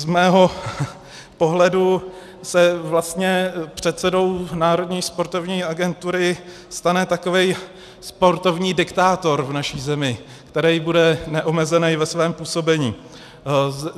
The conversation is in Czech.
Z mého pohledu se vlastně předsedou Národní sportovní agentury stane takový sportovní diktátor v naší zemi, který bude neomezený ve svém působení.